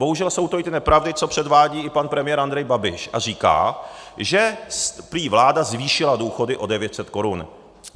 Bohužel jsou to i ty nepravdy, co předvádí i pan premiér Andrej Babiš, a říká, že prý vláda zvýšila důchody o 900 korun.